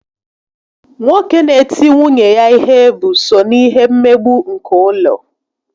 Nwoke n'eti nwunye ya ihe bụ so na ihe mmegbu nke ụlọ